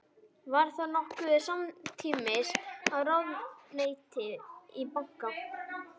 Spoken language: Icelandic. Var það nokkuð samtímis í ráðuneyti og banka.